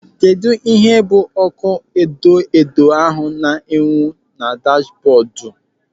Kedụ ihe bụ ọ́kụ́ edoedo ahụ na-enwu na dashbọọdụ?